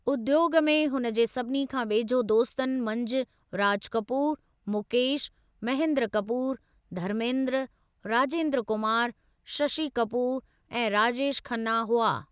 उद्योॻ में हुन जे सभिनी खां वेझे दोस्तनि मंझि राज कपूरु, मुकेशु, महेंद्र कपूरु, धर्मेंद्र, राजेंद्र कुमारु, शशि कपूरु ऐं राजेश खन्ना हुआ।